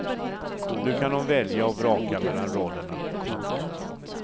Nu kan hon välja och vraka mellan rollerna. punkt